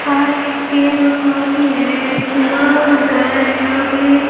पास एक पेन और कॉपी है एक माउस है यहाँ पर एक--